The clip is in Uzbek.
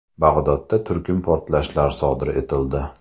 Bag‘dodda turkum portlashlar sodir etildi.